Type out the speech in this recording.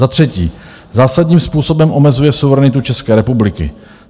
Za třetí, zásadním způsobem omezuje suverenitu České republiky.